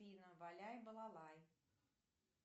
валяй балалай